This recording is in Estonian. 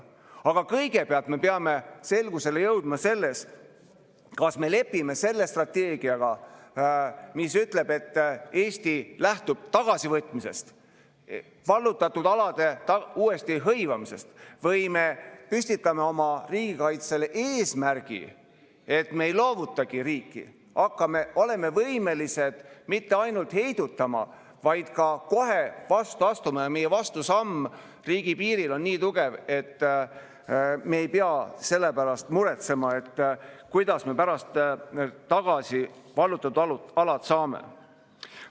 Aga kõigepealt me peame selgusele jõudma selles, kas me lepime selle strateegiaga, mis ütleb, et Eesti lähtub tagasivõitmisest, vallutatud alade uuesti hõivamisest, või me püstitame oma riigikaitsele eesmärgi, et me ei loovutagi riiki, oleme võimelised mitte ainult heidutama, vaid ka kohe vastu astuma ja meie vastusamm riigi piiril on nii tugev, et me ei pea selle pärast muretsema, kuidas me pärast vallutatud alad tagasi saame.